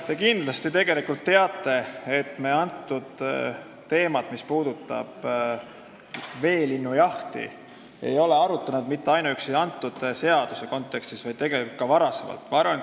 Te kindlasti teate, et me seda teemat, mis puudutab veelinnujahti, ei ole arutanud mitte ainuüksi selle seaduse kontekstis, vaid ka varem.